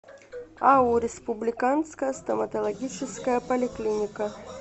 ау республиканская стоматологическая поликлиника